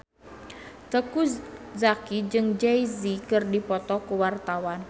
Teuku Zacky jeung Jay Z keur dipoto ku wartawan